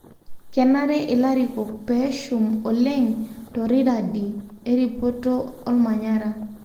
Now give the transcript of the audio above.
kenare ilarikok peshum oleng toniradi eripoto olmanyara